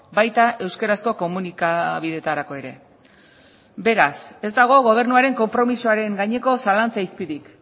baita euskarazko komunikabideetarako ere beraz ez dago gobernuaren konpromisoaren gaineko zalantza izpirik